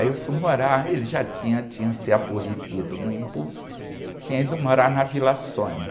Aí eu fui morar, ele já tinha, tinha sido aborrecido no Embu, tinha ido morar na Vila Sônia.